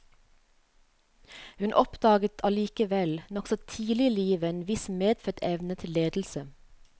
Hun oppdaget allikevel nokså tidlig i livet en viss medfødt evne til ledelse.